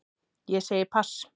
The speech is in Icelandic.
Ég segi pass.